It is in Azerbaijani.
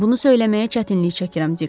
Bunu söyləməyə çətinlik çəkirəm, Dik.